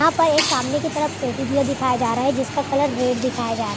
यहाँ पर सामने की तरफ एक टेडी बेयर दिखाया जा रहा है जिसका कलर रेड दिखाया जा रहा है |